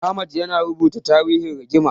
Ahmad yana rubuta tarihin rigimar.